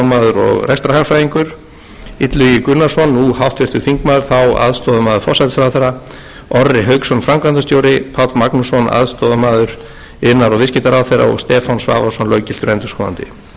og stefán svavarsson löggiltur endurskoðandi þórdís sigurðardóttir þá framkvæmdastjóri stjórnendaskóla háskólans í reykjavík skilaði sératkvæði og taldi ekki rétt að festa slíkt ákvæði